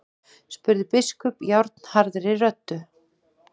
spurði biskup járnharðri röddu.